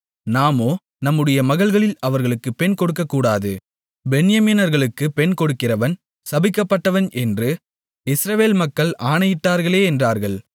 நாமோ நம்முடைய மகள்களில் அவர்களுக்கு பெண் கொடுக்கக்கூடாது பென்யமீனர்களுக்குப் பெண் கொடுக்கிறவன் சபிக்கப்பட்டவன் என்று இஸ்ரவேல் மக்கள் ஆணையிட்டார்களே என்றார்கள்